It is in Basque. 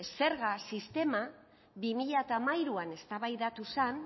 zerga sistema bi mila hamairuan eztabaidatu zen